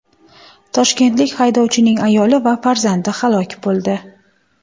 Toshkentlik haydovchining ayoli va farzandi halok bo‘ldi.